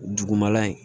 Dugumala in